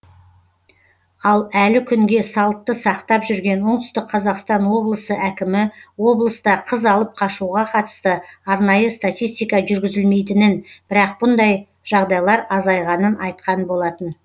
ал әлі күнге салтты сақтап жүрген оңтүстік қазақстан облысы әкімі облыста қыз алып қашуға қатысты арнайы статистика жүргізілмейтінін бірақ мұндай жағдайлар азайғанын айтқан болатын